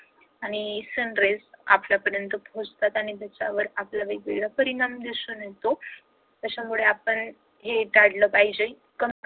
आणि sunraise आपल्यापर्यंत पोहोचतात आणि त्याच्यावर आपला वेगवेगळा परिणाम दिसून येतो. त्याच्यामुळे आपण हे काढलं पाहिजे